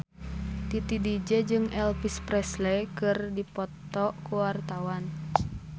Titi DJ jeung Elvis Presley keur dipoto ku wartawan